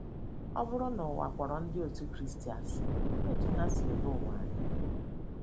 Ọ bụrụ na ụwa kpọrọ Ndị Otú Kristi asị, olee otú ha si ele ụwa anya?